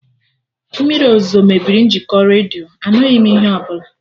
Mmiri ozuzo mebiri njikọ redio, anụghị m ihe ọbụla